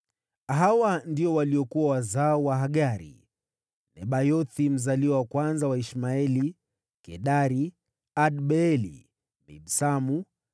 Hawa ndio waliokuwa wazao wa Hagari: Nebayothi mzaliwa wa kwanza wa Ishmaeli, Kedari, Adbeeli, Mibsamu,